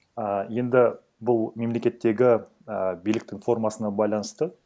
а енді бұл мемлекеттегі ііі биліктің формасына байланысты